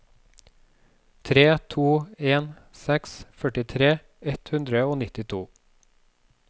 tre to en seks førtitre ett hundre og nittito